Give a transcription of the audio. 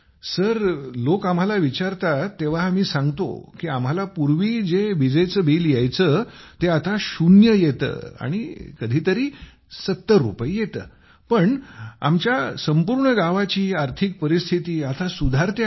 sir लोक आम्हाला विचारतात तेव्हा आम्ही सांगतो की आम्हाला पूर्वी जे वीज बिल यायचे ते आता शून्य येते आणि कधी तरी 70 रुपये येते पण आमच्या संपूर्ण गावाची आर्थिक परिस्थिती आता सुधारते आहे